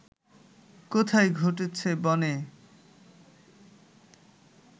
কোথায় ঘটছে বনে